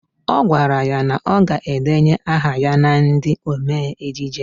Ọ gwara ya na ọ ga-edenye aha ya na ndị omee ejije